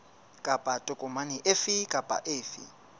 kapa tokomane efe kapa efe